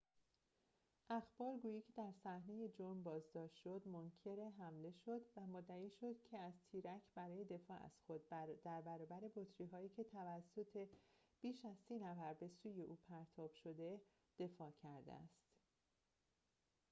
اخبارگویی که در صحنه جرم بازداشت شد منکر حمله شد و مدعی شد که از تیرک برای دفاع از خود در برابر بطری‌هایی که توسط بیش از سی نفر به سوی او پرتاب شده دفاع کرده است